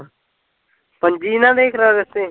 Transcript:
ਪੰਜੀ ਨਾ ਲਿਖਲਾ ਰੱਸੇ